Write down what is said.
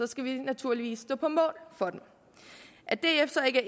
skal vi naturligvis stå på mål for dem at df så ikke er